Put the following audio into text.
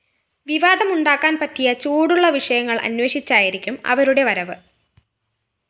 വിവാദമുണ്ടാക്കാന്‍ പറ്റിയ ചൂടുള്ള വിഷയങ്ങള്‍ അന്വേഷിച്ചായിരിക്കും അവരുടെ വരവ്